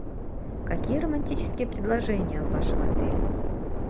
какие романтические предложения в вашем отеле